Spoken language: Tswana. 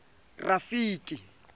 rafiki